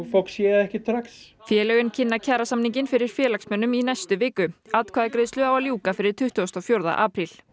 fólk sér það ekki strax félögin kynna kjarasamninginn fyrir félagsmönnum í næstu viku atkvæðagreiðslu á að ljúka fyrir tuttugasta og fjórða apríl